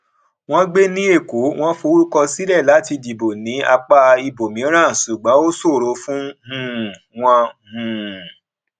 wọn gbé ní èkó wọn forúkọ sílẹ láti dìbò ní apá ibòmíràn ṣùgbọn ó ṣòro fún um wọn um